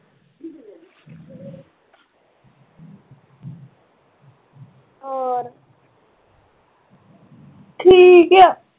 ਹੋਰ